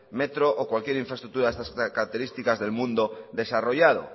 metro o cualquier infraestructura de estas características del mundo desarrollado